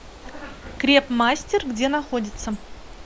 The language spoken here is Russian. крепмастер где находится